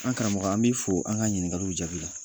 An karamɔgɔ an b'i fɔ an ka ɲiningaliw jaabi la.